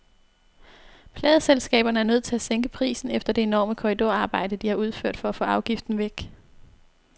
Pladeselskaberne er nødt til at sænke prisen efter det enorme korridorarbejde, de har udført for at få afgiften væk.